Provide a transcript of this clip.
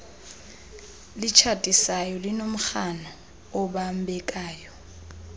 litshatisayo linomrhano obambekayo